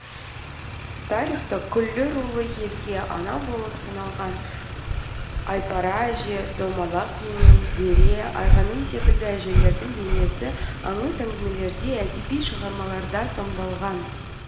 тарихта күллі рулы елге ана болып саналған айпара әже домалақ ене зере айғаным секілді әжелердің бейнесі аңыз әңгімелерде әдеби шығармаларда сомдалған